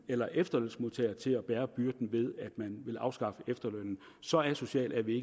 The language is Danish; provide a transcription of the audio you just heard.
eller efterlønsmodtagere til at bære byrden ved at afskaffe efterlønnen så asociale er vi